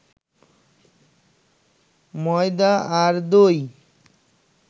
ময়দা আর দই